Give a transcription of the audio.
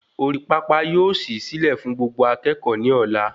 Orí pápá yóò sì silẹ fún Gbogbo akékòó ni ọlá